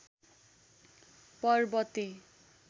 पर्बते